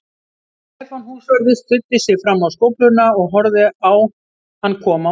Stefán húsvörður studdi sig fram á skófluna og horfði á hann koma út.